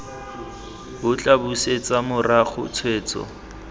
bo tla busetsa morago tshwetso